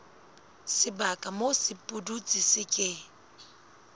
sebaka moo sepudutsi se ke